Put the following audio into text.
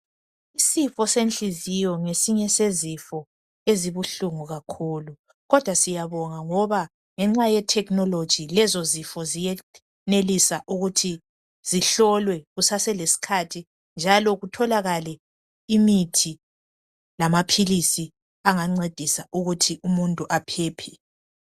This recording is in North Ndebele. Isifo senhliziyo ngesinye sezifo ezibuhlungu kakhulu kodwa siyabonga ngoba ngenxa yethekinoloji lezo zifo ziyenelisa ukuthi zihlolwe kuseselesikhathi njalo kutholakale imithi lamaphilisi angancedisa ukuthi umuntu aphephe